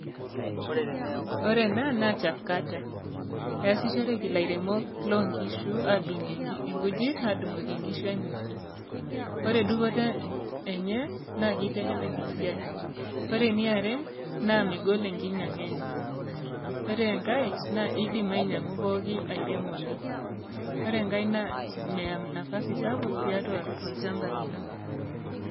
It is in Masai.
Ore ena naa chef cutter. Esishoreki lairemok lonkishu adung'ie nkujit adung'oki nkishu enye. Ore dupoto enye, naa kitelelek esiai. Ore eniare, na megol enkinyang'a enye. Ore enkae, na idim ainyang'u pookin airemoni. Ore enkae, na meya nafasi sapuk tiatua olchamba lino.